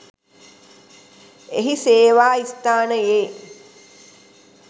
එහි සේවා ස්ථානයේ